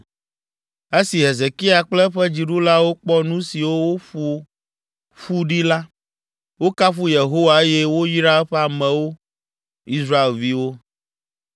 Esi Hezekia kple eƒe dziɖulawo kpɔ nu siwo woƒo ƒu ɖi la, wokafu Yehowa eye woyra eƒe amewo, Israelviwo.